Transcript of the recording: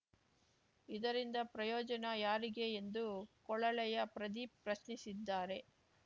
ಇದರಿಂದ ಪ್ರಯೋಜನ ಯಾರಿಗೆ ಎಂದು ಕೊಳಲೆಯ ಪ್ರದೀಪ್‌ ಪ್ರಶ್ನಿಸಿದ್ದಾರೆ